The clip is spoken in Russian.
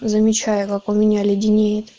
замечаю как у меня леденеет